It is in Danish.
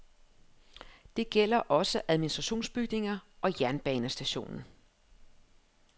Det gælder også administrationsbygninger og jernbanestationen.